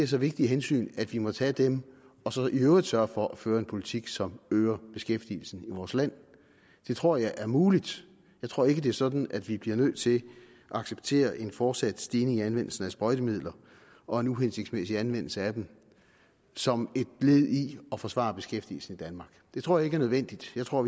så vigtige hensyn at vi må tage dem og så i øvrigt sørge for at føre en politik som øger beskæftigelsen i vores land det tror jeg er muligt jeg tror ikke det er sådan at vi bliver nødt til at acceptere en fortsat stigning i anvendelsen af sprøjtemidler og en uhensigtsmæssig anvendelse af dem som et led i at forsvare beskæftigelsen i danmark det tror jeg ikke er nødvendigt jeg tror